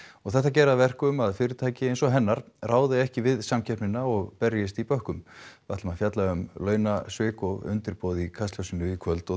þetta geri að verkum að fyrirtæki eins og hennar ráði ekki við samkeppnina og berjist í bökkum við ætlum að fjalla um launasvik og undirboð í Kastljósinu í kvöld og